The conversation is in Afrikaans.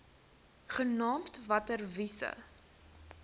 genaamd water wise